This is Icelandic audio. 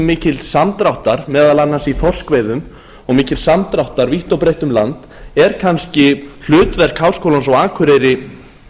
mikils samdráttar meðal annars í þorskveiðum og mikils samdráttar vítt og breitt um land er kannski hlutverk háskólans á akureyri